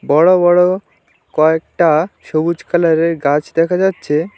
বড়ো বড়ো কয়েকটা সবুজ কালারের গাছ দেখা যাচ্ছে।